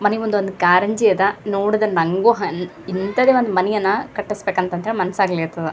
ಮನೆ ಮುಂದೆ ಒಂದು ಕಾರಂಜಿ ಅದ್ ನೋಡದ್ರೆ ನಂಗು ಹನ್ ಇಂತದೆ ಒಂದ ಮನೆಯನ್ನ ಕಟ್ಟಿಸ್ಬೇಕಂತಾ ಮನ್ಸ್ ಆಗಲತದ .